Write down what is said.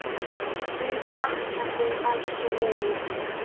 Mun sakna þín, elsku vinur.